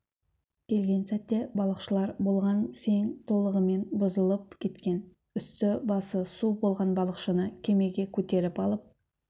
келген сәтте балықшылар болған сең толығымен бұзылып кеткен үсті-басы су болған балықшыны кемеге көтеріп алып